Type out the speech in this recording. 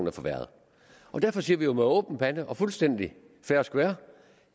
er forværret derfor siger vi med åben pande og fuldstændig fair og square at